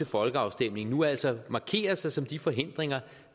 folkeafstemningen nu altså markerer sig som de forhindringer